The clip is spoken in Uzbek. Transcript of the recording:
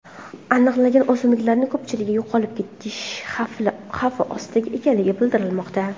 Aniqlangan o‘simliklarning ko‘pchiligi yo‘qolib ketish xavfi ostida ekanligi bildirilmoqda.